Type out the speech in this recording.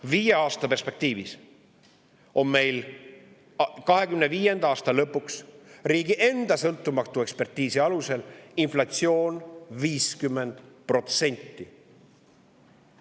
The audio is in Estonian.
Viie aasta perspektiivis on meil 2025. aasta lõpuks riigi enda sõltumatu ekspertiisi alusel inflatsioon 50%.